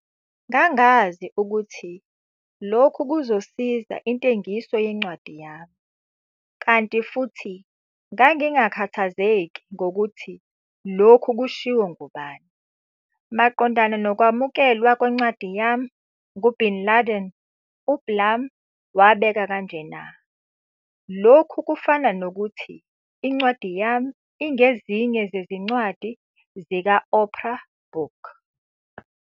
Ngangazi ukuthi lokhu kuzosiza intengiso yencwadi yami, kanti futhi ngangingakhathazeki ngokuthi lookhu kushiwo ngubani. Maqondana nokwamukelwa kwencwadi yami ngu-Bin Laden, uBlum wabeka kanjena, "Lokhu kufana nokuthi incwadi yami ingezinye zezincwadi zika-Oprah book."